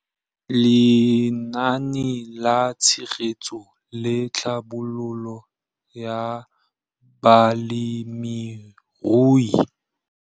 Lenaane la Tshegetso le Tlhabololo ya Balemirui